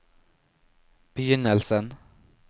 begynnelsen